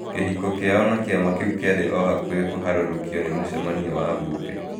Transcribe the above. Kĩhiko kĩao na kĩama kĩu kĩarĩ o hakuhĩ kũharũrũkio nĩ mũcemanio wa bunge.